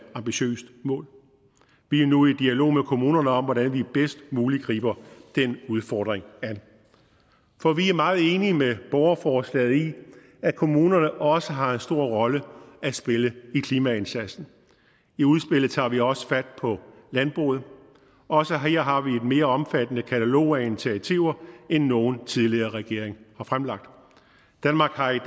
ambitiøst mål vi er nu i dialog med kommunerne om hvordan vi bedst muligt griber den udfordring an for vi er meget enige med borgerforslaget i at kommunerne også har en stor rolle at spille i klimaindsatsen i udspillet tager vi også fat på landbruget også her har vi et mere omfattende katalog af initiativer end nogen tidligere regering har fremlagt danmark har i